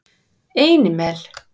Einimel